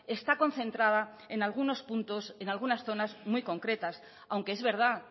está concentrada en algunos puntos en algunas zonas muy concretas aunque es verdad